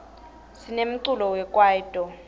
sinemculo wekwaito